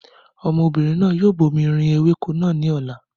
Ọmọbìnrin náà yóò bomirin ewéko náà ní ọ̀la